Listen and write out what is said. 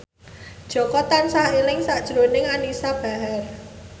Jaka tansah eling sakjroning Anisa Bahar